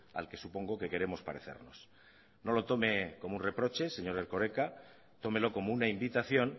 al que supongo que queremos parecernos no lo tome como un reproche señor erkoreka tómelo como una invitación